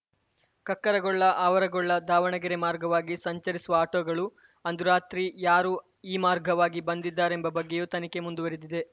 ಕಕ್ಕರಗೊಳ್ಳ ಆವರಗೊಳ್ಳ ದಾವಣಗೆರೆ ಮಾರ್ಗವಾಗಿ ಸಂಚರಿಸುವ ಆಟೋಗಳು ಅಂದು ರಾತ್ರಿ ಯಾರು ಈ ಮಾರ್ಗವಾಗಿ ಬಂದಿದ್ದಾರೆಂಬ ಬಗ್ಗೆಯೂ ತನಿಖೆ ಮುಂದುವರಿದಿದೆ